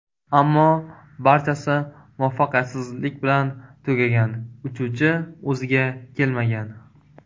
Ammo barchasi muvaffaqiyatsizlik bilan tugagan − uchuvchi o‘ziga kelmagan.